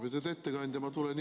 Lugupeetud ettekandja!